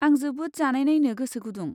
आं जोबोद जानायनायनो गोसो गुदुं।